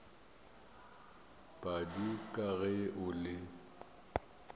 padi ka ge o le